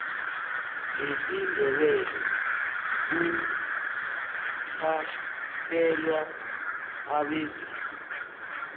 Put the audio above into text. ngesindebele kuphahlelwa abezimu